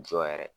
Jɔ yɛrɛ